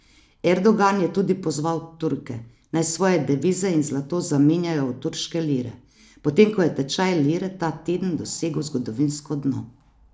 Erdogan je tudi pozval Turke, naj svoje devize in zlato zamenjajo v turške lire, potem ko je tečaj lire ta teden dosegel zgodovinsko dno.